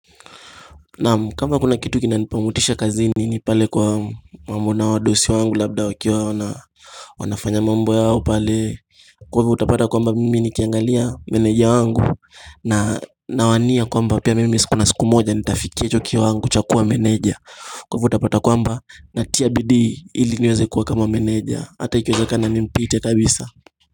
Nam kama kuna kitu kina nipa motisha kazini ni pale kwa mambo na wadosi wangu labda wakiwa wana wanafanya mambo yao pale Kwa hivyo utapata kwamba mimi nikiangalia meneja wangu na nawania kwamba pia mimi sikuna siku moja nitafikia hicho ki wango chakua meneja Kwa hivo utapata kwamba na tia bidii ili niweze kuwa kama meneja hata ikiweze kana nimpite kabisa.